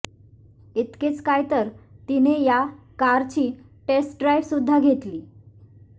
इतकेच काय तर तिने या कारची टेस्ट ड्राइव्ह सुद्धा घेतली